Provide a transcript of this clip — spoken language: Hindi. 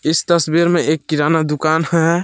इस तस्वीर में एक किराना दुकान है।